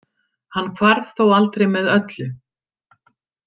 Hann hvarf þó aldrei með öllu.